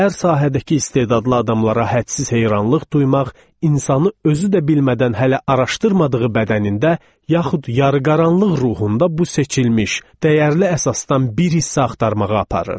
Hər sahədəki istedadlı adamlara hədsiz heyranlıq duymaq insanı özü də bilmədən hələ araşdırmadığı bədənində, yaxud yarıqaranlıq ruhunda bu seçilmiş, dəyərli əsasdan bir hissə axtarmağa aparır.